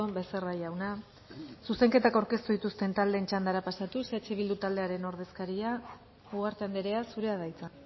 becerra jauna zuzenketak aurkeztu dituzten taldeen txandara pasatuz eh bildu taldearen ordezkaria ugarte andrea zurea da hitza